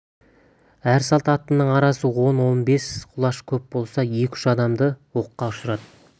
әр салт аттының арасы он-он бес құлаш көп болса екі-үш адамды оққа ұшырады